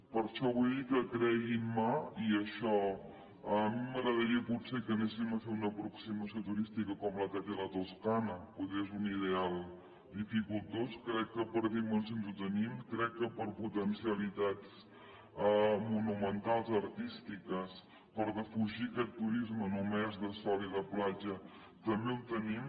per això vull dir que creguin me a mi m’agradaria potser que anéssim a fer una aproximació turística com la que té la toscana poder és un ideal dificultós crec que per dimensions ho tenim crec que per potencialitats monumentals artístiques per defugir aquest turisme només de sol i de platja també ho tenim